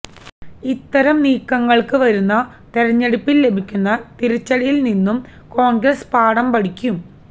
ഇത്തരം നീക്കങ്ങള്ക്ക് വരുന്ന തെരഞ്ഞെടുപ്പില് ലഭിക്കുന്ന തിരിച്ചടിയില് നിന്നും കോണ്ഗ്രസ് പാഠം പഠിക്കും